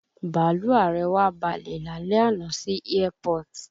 Bàlúù ààrẹ wa balẹ̀ lálẹ́ àná sí airport